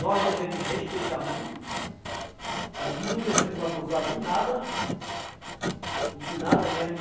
Nós devemos respeitar muito, não devemos abusar de nada, de nada mesmo.